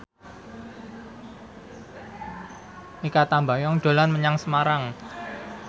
Mikha Tambayong dolan menyang Semarang